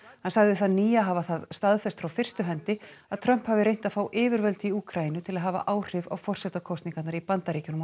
hann sagði þann nýja hafa það staðfest frá fyrstu hendi að Trump hafi reynt að fá yfirvöld í Úkraínu til að hafa áhrif á forsetakosningarnar í Bandaríkjunum á